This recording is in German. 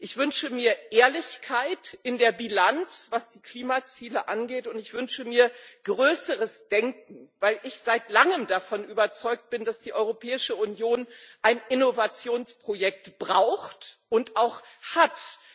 Ich wünsche mir Ehrlichkeit in der Bilanz, was die Klimaziele angeht, und ich wünsche mir größeres Denken, weil ich seit langem davon überzeugt bin, dass die Europäische Union ein Innovationsprojekt braucht und auch hat.